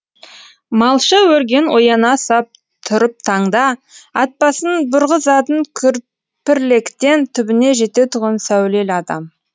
малша өрген ояна сап тұрып таңда ат басын бұрғызатын күрпірліктен түбіне жететұғын сәулелі адам